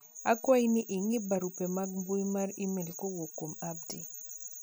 akwayi ni ing'i barupe mag mbui mar email kowuok kuom Abdi